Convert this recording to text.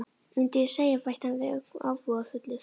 Mundi ég segja- bætti hann við ögn ábúðarfullur.